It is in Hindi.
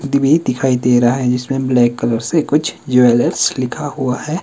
दिभी दिखाई दे रहा है जिसमें ब्लैक कलर से कुछ ज्वेलर्स लिखा हुआ है।